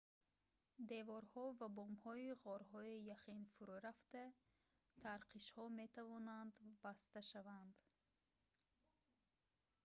деворҳо ва бомҳои ғорҳои яхин фурӯ рафта тарқишҳо метавонанд баста шаванд